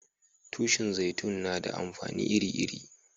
Tushin zaitun na da amfani iri-iri.